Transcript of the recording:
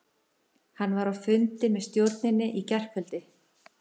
Hann var á fundi með stjórninni í gærkvöldi.